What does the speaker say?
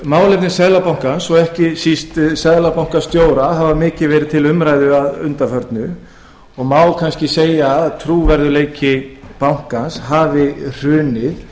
málefni seðlabankans og ekki síst seðlabankastjóra hafa mikið verið til umræðu að undanförnu og má kannski segja að trúverðugleiki bankans hafi hrunið